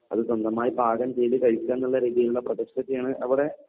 അത് സ്വന്തമായി പാകംചെയ്ത കഴിക്കുകാന്നുള്ള രീതിയിലുള്ള പ്രോജക്ട്സ് ഒക്കെയാണ് അവിടെ